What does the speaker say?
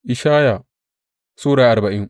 Ishaya Sura arbain